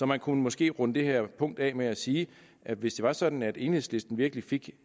man kunne måske runde det her punkt af med at sige at hvis det var sådan at enhedslisten virkelig fik